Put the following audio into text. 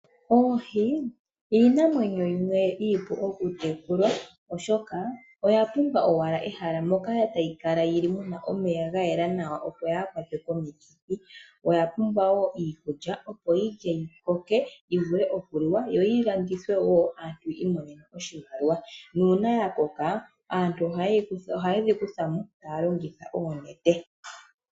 Oohi oyo iinamwenyo iipu okutekelwa oshoka oya pumbwa owala ehala moka tayi kala yi li mu na omeya ga yela nawa opo yaakwatwe komikithi oya pumbwa wo iikulya opo yi lye yikoke yi vule okuliwa yo yi landithwe wo aantu yiimonene oshimaliwa nuuna ya koka aantu ohaye dhi kuthamo taya longitha oonete.